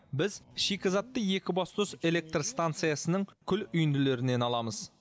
біз шикізатты екібастұз электр станциясының күл үйінділерінен аламыз